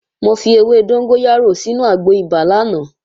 Mo fi ewé dóngóyárò sínu àgbo ibà lánàá